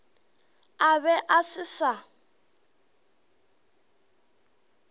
a be a se sa